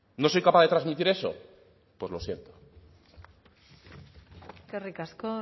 no soy capaz de transmitir eso pues lo siento eskerrik asko